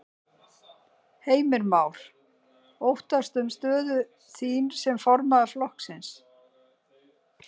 Heimir Már: Óttastu um stöðu þín sem formaður flokksins?